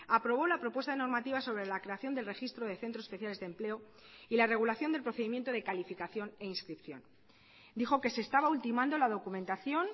aprobó la propuesta de normativa sobre la creación del registro de centros especiales de empleo y la regulación del procedimiento de calificación e inscripción dijo que se estaba ultimando la documentación